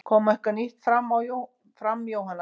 Kom eitthvað nýtt fram Jóhanna?